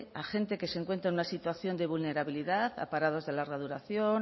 a gente que se encuentra en una situación de vulnerabilidad a parados de larga duración